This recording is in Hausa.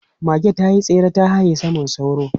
Mage ta yi tsere ta haye saman sauro.